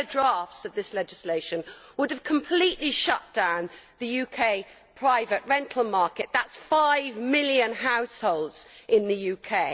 Earlier drafts of this legislation would have completely shut down the UK private rental market that is five million households in the UK.